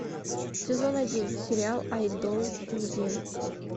сезон один сериал айдол недели